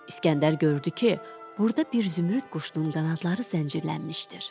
İsgəndər gördü ki, burda bir zümrüd quşunun qanadları zəncirlənmişdir.